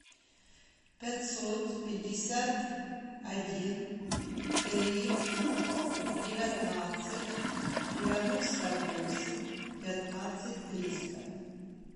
пятьсот пятьдесят один три девятнадцать девяносто восемь пятнадцать триста